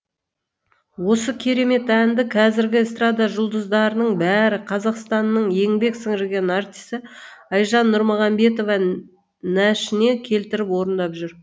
осы керемет әнді қазіргі эстрада жұлдыздарының бірі қазақстанның еңбек сіңірген артисі айжан нұрмағамбетова нәшіне келтіріп орындап жүр